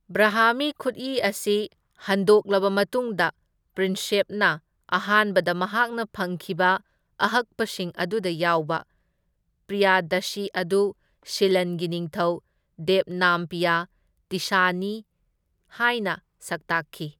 ꯕ꯭ꯔꯍꯥꯃꯤ ꯈꯨꯠꯏ ꯑꯁꯤ ꯍꯟꯗꯣꯛꯂꯕ ꯃꯇꯨꯡꯗ, ꯄ꯭ꯔꯤꯟꯁꯦꯞꯅ ꯑꯍꯥꯟꯕꯗ ꯃꯍꯥꯛꯅ ꯐꯪꯈꯤꯕ ꯑꯍꯛꯄꯁꯤꯡ ꯑꯗꯨꯗ ꯌꯥꯎꯕ ꯄ꯭ꯔꯤꯌꯥꯗꯥꯁꯤ ꯑꯗꯨ ꯁꯤꯂꯟꯒꯤ ꯅꯤꯡꯊꯧ ꯗꯦꯕꯅꯥꯝꯄꯤꯌꯥ ꯇꯤꯁꯁꯥꯅꯤ ꯍꯥꯏꯅ ꯁꯛꯇꯥꯛꯈꯤ꯫